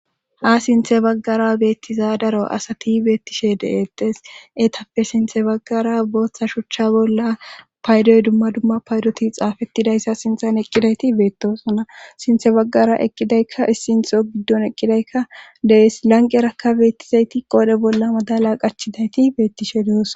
Ha sinthe baggara beettiza daro asati beettishe de7etes eetappe sinthe baggara booththa shuchcha bolla paydoy dumma dumma paydoti xaafettidayssa sinthan eqqidayti beettosona sinthe baggara eqqidaykka issintho giddon eqqidaykka dees lanqerakka beettizayti qoode bolla madala qachidayti beettishe doos